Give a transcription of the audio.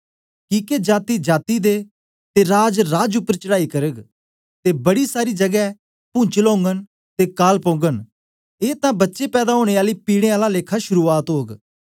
किके जाती जाती दे ते राज राज उपर चढ़ाई करग ते बड़ी सारी जगै भुनचल ओगन ते काल पौगन ए तां बच्चे पैदा ओनें आली पिड़ें आला लेखा शुरुआत ओग